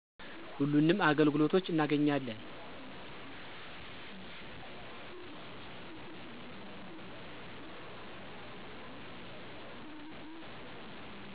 ሁሉንም አገልግሎቶች እናገኛለን።